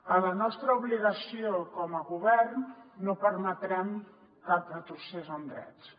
a la nostra obligació com a govern no permetrem cap retrocés en drets